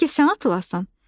Bəlkə sən atılasan?"